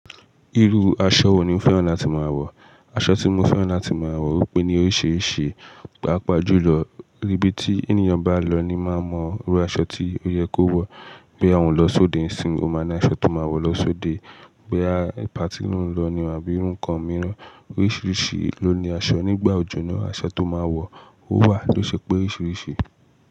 Irú aṣọ wo ni o fẹ́ràn láti máa wọ̀? Aṣọ tí mo fẹ́ràn láti máa wọ̀ ọ́pe ní oríṣiríṣi. Páápàá jùlọ íbí tí ẹniyan bá lọ ni máa mọ irú aṣọ tí ó yẹ kó wọ̀. Bí a ń lọ sóde ìsìn, o máa ní aṣọ tó máa wọ̀ lọ sóde. Boya patí lo ń lọ àbí irú nǹkan mìíràn, oríṣiríṣi ló ní aṣọ. Nígbà òjò ná, aṣọ tó máa wọ̀ ó wà ló ṣe pé oríṣiríṣi.